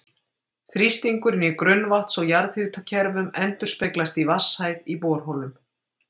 Þrýstingurinn í grunnvatns- og jarðhitakerfum endurspeglast í vatnshæð í borholum.